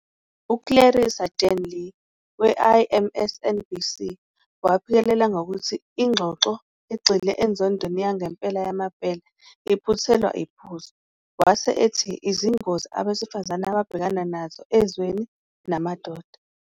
UClarissa-Jan Lim we-I-MSNBC waphikelela ngokuthi ingxoxo egxile enzondweni yangempela yamabhele iphuthelwa iphuzu, wase ethi "izingozi abesifazane ababhekana nazo ezweni namadoda.